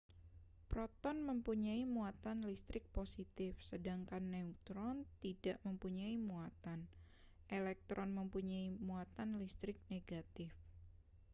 proton mempunyai muatan listrik positif sedangkan neutron tidak mempunyai muatan elektron mempunyai muatan listrik negatif